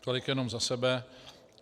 Tolik jenom za sebe.